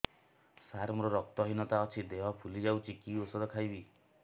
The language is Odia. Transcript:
ସାର ମୋର ରକ୍ତ ହିନତା ଅଛି ଦେହ ଫୁଲି ଯାଉଛି କି ଓଷଦ ଖାଇବି